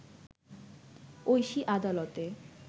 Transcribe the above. ঐশী আদালতে